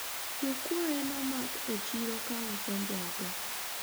jokuoye nomak e chiro ka uso njaga